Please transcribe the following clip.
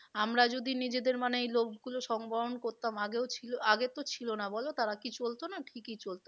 আমরা যদি নিজেরদের মানে এই লোভ গুলো সংবহন করতাম আগেও ছিল, আগে তো ছিল না বলো তারা কি চলতো না ঠিকই চলতো।